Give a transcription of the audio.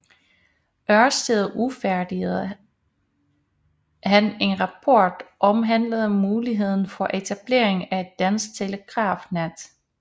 Ørsted udfærdigede han en rapport omhandlende muligheden for etablering af et dansk telegrafnet